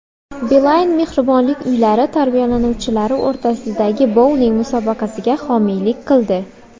Beeline mehribonlik uylari tarbiyalanuvchilari o‘rtasidagi bouling musobaqasiga homiylik qildi.